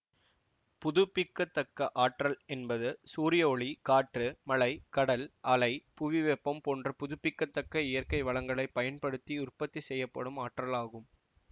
புதுப்பிக்க தக்க ஆற்றல் என்பது சூரிய ஒளி காற்று மழை கடல் அலை புவிவெப்பம் போன்ற புதுப்பிக்க தக்க இயற்கை வளங்களை பயன்படுத்தி உற்பத்தி செய்யப்படும் ஆற்றல் ஆகும்